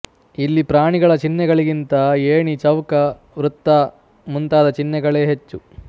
ಇಲ್ಲಿ ಪ್ರಾಣಿಗಳ ಚಿಹ್ನೆಗಳಿಗಿಂತ ಏಣಿ ಚೌಕ ವೃತ್ತ ಮುಂತಾದ ಚಿಹ್ನೆಗಳೇ ಹೆಚ್ಚು